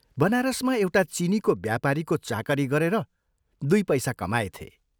बनारसमा एउटा चीनीको व्यापारीको चाकरी गरेर दुइ पैसा कमाएथे।